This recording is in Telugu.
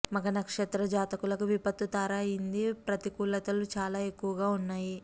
మఖ నక్షత్ర జాతకులకు విపత్తు తార అయింది ప్రతికూలతలు చాలా ఎక్కువగా ఉన్నాయి